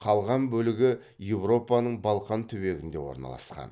қалған бөлігі еуропаның балқан түбегінде орналасқан